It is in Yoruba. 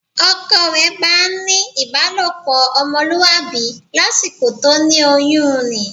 Ọkọ rẹ̀ bá ń ní ìbálòpọ̀ ọmọlúwàbí lásìkò tó ní oyún ni